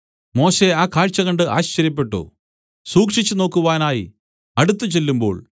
മോശെ ആ കാഴ്ച കണ്ട് ആശ്ചര്യപ്പെട്ടു സൂക്ഷിച്ചുനോക്കുവാനായി അടുത്തുചെല്ലുമ്പോൾ